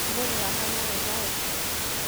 Ũmũthi wahona wega